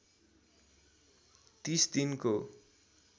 ३० दिनको